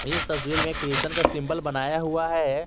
इस तस्वीर में क्रिश्चियन का सिंबल बनाया हुआ है।